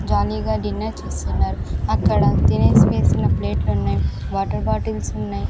జాలీ గా డిన్నర్ చేస్తున్నారు అక్కడ తినేసి వేసిన ప్లేట్లున్నాయ్ వాటర్ బాటిల్స్ ఉన్నాయ్.